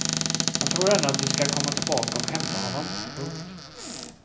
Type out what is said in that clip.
Han tror ännu att de skall komma tillbaka och hämta honom. punkt